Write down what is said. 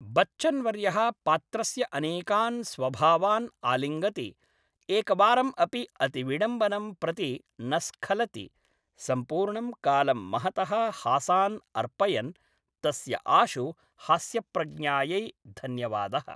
बच्चन्वर्यः पात्रस्य अनेकान् स्वभावान् आलिङ्गति, एकवारम् अपि अतिविडम्बनं प्रति न स्खलति, सम्पूर्णं कालं महतः हासान् अर्पयन्, तस्य आशु हास्यप्रज्ञायै धन्यवादः।